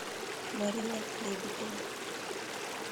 марина лебедева